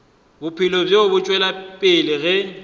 bophelo bo tšwela pele ge